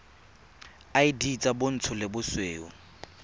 id tsa bontsho le bosweu